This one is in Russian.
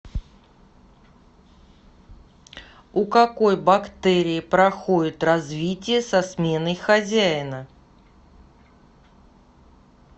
у какой бактерии проходит развитие со сменой хозяина